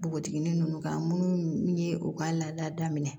Npogotiginin nunnu kan munnu ye u ka laada daminɛ